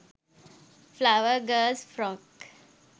flower girls frock